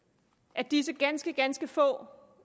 at disse ganske ganske få